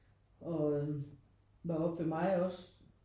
Og var oppe ved mig også